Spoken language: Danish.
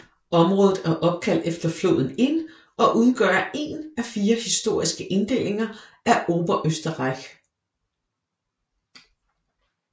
Området er opkaldt efter floden Inn og udgør én af fire historiske inddelinger af Oberösterreich